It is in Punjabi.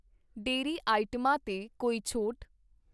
ਡੇਅਰੀ ਆਈਟਮਾਂ 'ਤੇ ਕੋਈ ਛੋਟ?